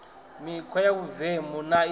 mikhwa ya vhuvemu na i